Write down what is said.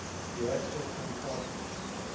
reactor compartment